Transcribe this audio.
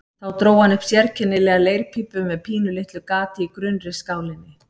Þá dró hann upp sérkennilega leirpípu með pínulitlu gati í grunnri skálinni.